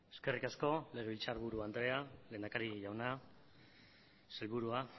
eskerrik asko legebiltzarburu andrea lehendakari jauna sailburua